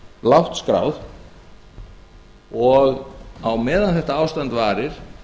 lágt skráð og á meðan þetta ástand varir